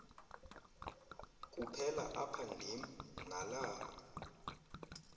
kuphela aphandim nalaa